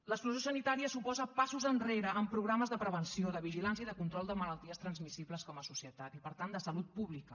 l’exclusió sanitària suposa passos enrere en programes de prevenció de vigilància i de control de malalties transmissibles com a societat i per tant de salut pública